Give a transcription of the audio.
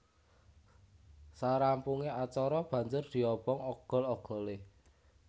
Sarampunge acara banjur diobong ogol ogole